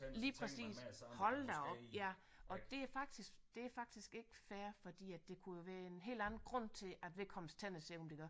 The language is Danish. Lige præcis hold da op ja og det er faktisk det er faktisk ikke fair fordi at der kunne jo være en helt anden grund til at vedkommendes tænder ser ud som de gør